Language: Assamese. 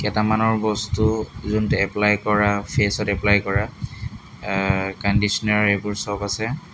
কেটামানৰ বস্তু যোনটো এপ্পলাই কৰা ফেচত এপ্পলাই কৰা অহ কণ্ডিচনাৰ এইবোৰ চব আছে।